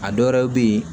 A dɔwɛrɛw be yen